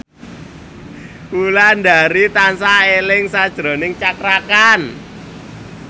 Wulandari tansah eling sakjroning Cakra Khan